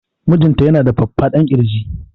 Mijinta ya na da faffadan kirji